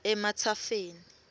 ematsafeni